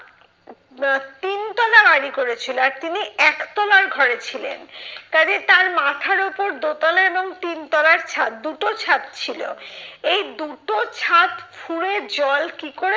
তিনতলা বাড়ি করেছিল আর তিনি একতলার ঘরে ছিলেন, কাজেই তার মাথার ওপর দোতলা এবং তিনতলার ছাদ দুটো ছাদ ছিল। এই দুটো ছাদ ফুঁড়ে জল কি করে